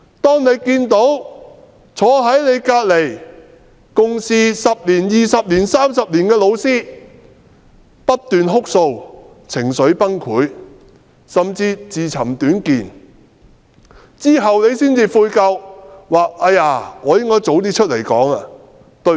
當你看見坐在你旁邊共事10年、20年或30年的老師不斷哭訴，情緒崩潰，甚至自尋短見，及至發生事後你才悔疚，覺得自己應該早點出來發聲。